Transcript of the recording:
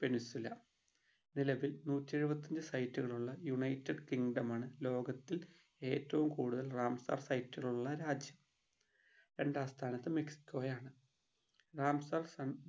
peninsula നിലവിൽ നൂറ്റി എഴുപത്തി അഞ്ച് site കൾ ഉള്ള united kingdom ആണ് ലോകത്തിൽ ഏറ്റവും കൂടുതൽ റാംസാർ site കൾ ഉള്ള രാജ്യം രണ്ടാം സ്ഥാനത്ത് മെക്സിക്കോ ആണ് റാംസാർ